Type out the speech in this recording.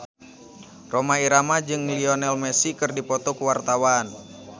Rhoma Irama jeung Lionel Messi keur dipoto ku wartawan